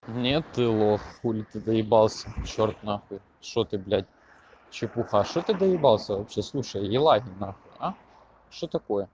нет ты лох хули ты доебался чёрт нахуй что ты блядь чепуха что ты доебался вообще слушай еланин нахуй а что такое